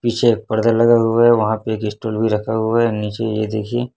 पीछे एक पर्दा लगा हुआ है वहां पे एक स्टूल भी रखा हुआ है नीचे ये देखिए--